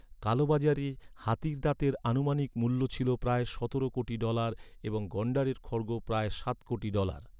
কালোবাজারে হাতির দাঁতের আনুমানিক মূল্য ছিল প্রায় সতেরো কোটি ডলার এবং গন্ডারের খড়্গ প্রায় সাত কোটি ডলার।